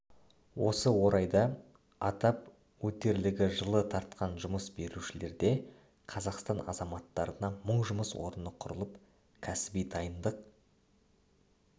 осы орайда атап өтерлігі жылы тартқан жұмыс берушілерде қазақстан азаматтарына мың жұмыс орны құрылып кәсіби дайындық